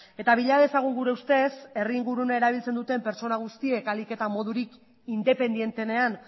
eta bila dezagun gure ustez herri ingurunea erabiltzen duten pertsona guztiek ahalik eta modurik independenteenean